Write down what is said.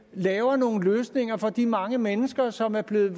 laver nogle løsninger for de mange mennesker som er blevet